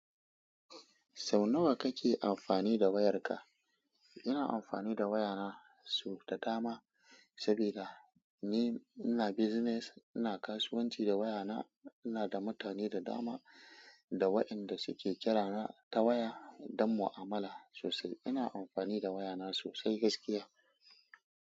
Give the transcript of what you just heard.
Sau nawa kake amfani da wayarka? Ina amfani da wayana so da dama saboda ni ina business. Ina kasuwanci da wayana, ina da mutane da dama da waɗanda suke kira ta waya don mu'amala sosai. Ina amfani da wayana sosai gaskiya.